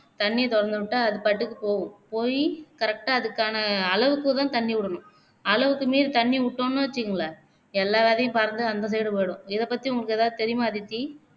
தண்ணீய திறந்து விட்டா அதுபாட்டுக்கு போகும் போய் correct ஆ அதுக்கான அளவுக்கு தான் தண்ணீர் விடணும் அளவுக்கு மீறி தண்ணீர் விட்டோம்னு வச்சுகோங்க எல்லா விதையும் பாருங்க அந்த side போயிடும் இதபத்தி உங்கலுக்கு எதாவது தெரியுமா அதித்தி